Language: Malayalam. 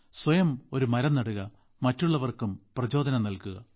സ്വയം ഒരു മരം നടുക മറ്റുള്ളവർക്കും പ്രചോദനം നൽകുക